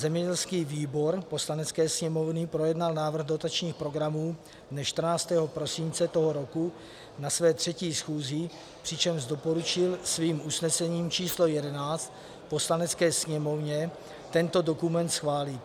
Zemědělský výbor Poslanecké sněmovny projednal návrh dotačních programů dne 14. prosince tohoto roku na své třetí schůzi, přičemž doporučil svým usnesením číslo 11 Poslanecké sněmovně tento dokument schválit.